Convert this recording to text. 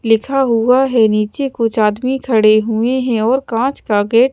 लिखा हुआ है निचे कुछ आदमी खड़े हुए है और काच का गेट --